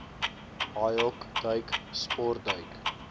haaihok duik sportduik